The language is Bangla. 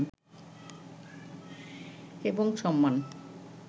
এবং সম্মান